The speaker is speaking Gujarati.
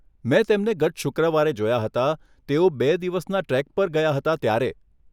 મેં તેમને ગત શુક્રવારે જોયા હતા, તેઓ બે દિવસના ટ્રેક પર ગયા હતા ત્યારે.